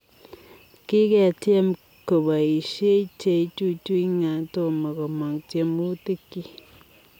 Kiketyeem kopoisie cheichuchui ngaa tomoo komaang tiemutik chiik.